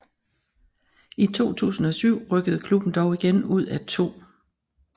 I 2007 rykkede klubben dog igen ud af 2